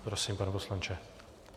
Prosím, pane poslanče.